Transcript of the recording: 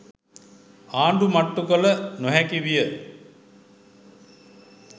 ආණ්ඩු මට්ටු කළ නොහැකි විය